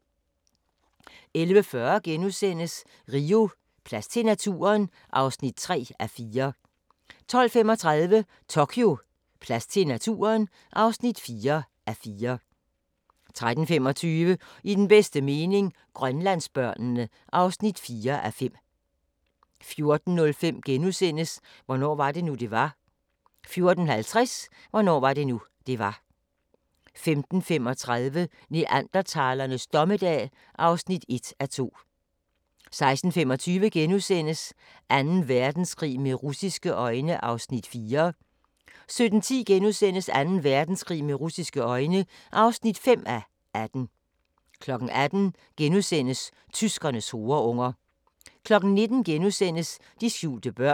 11:40: Rio: Plads til naturen? (3:4)* 12:35: Tokyo: Plads til naturen? (4:4) 13:25: I den bedste mening – Grønlandsbørnene (4:5) 14:05: Hvornår var det nu, det var? * 14:50: Hvornår var det nu, det var? 15:35: Neandertalernes dommedag (1:2) 16:25: Anden Verdenskrig med russiske øjne (4:18)* 17:10: Anden Verdenskrig med russiske øjne (5:18)* 18:00: Tyskernes horeunger * 19:00: De skjulte børn *